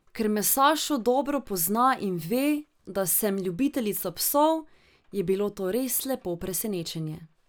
Ker me Sašo dobro pozna in ve, da sem ljubiteljica psov, je bilo to res lepo presenečenje.